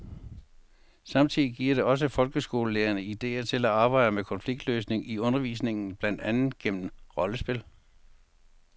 Samtidig giver det også folkeskolelærerne idéer til at arbejde med konfliktløsning i undervisningen, blandt andet gennem rollespil.